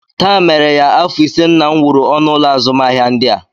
Taa mere ya afọ ise nna m wuru ọnụụlọ azụmahịa ndị a